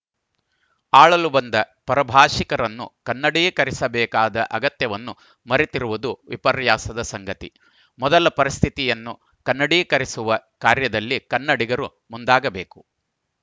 ಆಳಲು ಬಂದ ಪರಭಾಷಿಕರನ್ನು ಕನ್ನಡೀಕರಿಸಬೇಕಾದ ಅಗತ್ಯವನ್ನು ಮರೆತಿರುವುದು ವಿಪರ್ಯಾಸದ ಸಂಗತಿ ಮೊದಲ ಪರಿಸ್ಥಿತಿಯನ್ನು ಕನ್ನಡೀಕರಿಸುವ ಕಾರ್ಯದಲ್ಲಿ ಕನ್ನಡಿಗರು ಮುಂದಾಗಬೇಕು